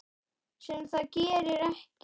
Sem það gerir ekki.